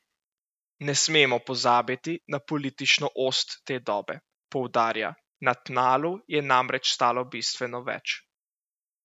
Ne smemo pozabiti na politično ost te dobe, poudarja, na tnalu je namreč stalo bistveno več.